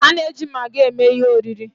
A na-eji Magi eme ihe oriri.